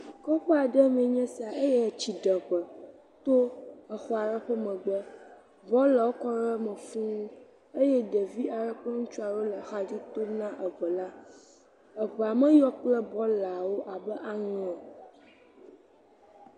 Kuku aɖe me nye sia eye tsi ɖe ŋe to exɔ aɖe ƒe megbe. Bɔlawo kɔ ɖe eme fuu eye ɖevi aɖe kple ŋutsu aɖe wo axa dzi tom na eŋe la. Eŋea me yɔ kple bɔlawo abe aŋe.